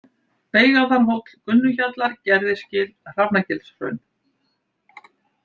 Beigaðarhóll, Gunnuhjallar, Gerðisgil, Hrafnagilshraun